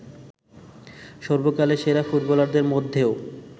সর্বকালের সেরা ফুটবলারদের মধ্যেও